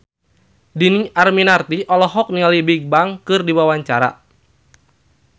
Dhini Aminarti olohok ningali Bigbang keur diwawancara